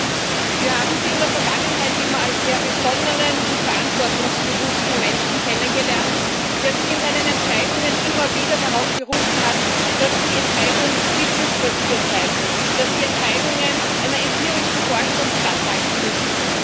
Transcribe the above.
Herr Kommissar, wir haben Sie in der Vergangenheit immer als sehr besonnenen und verantwortungsbewussten Menschen kennengelernt, der sich in seinen Entscheidungen immer wieder darauf berufen hat, dass die Entscheidung wissensbasiert sein muss, dass die Entscheidungen einer empirischen Forschung standhalten müssen.